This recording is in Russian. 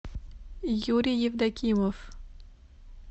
юрий евдокимов